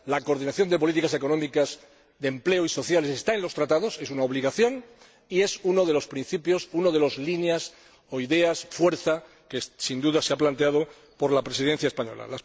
La coordinación de políticas económicas, de empleo y sociales está en los Tratados es una obligación y es uno de los principios, una de las líneas o ideas, que ha planteado la Presidencia española.